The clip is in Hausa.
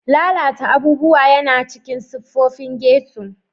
Lalata abubuwa yana cikin siffofin ghetto.